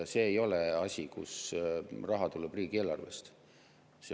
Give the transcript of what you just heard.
See ei ole asi, kuhu raha tuleb riigieelarvest.